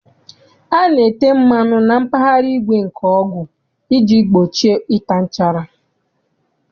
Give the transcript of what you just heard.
A na-ete mmanụ na mpaghara igwe nke ọgụ iji gbochie ịta nchara.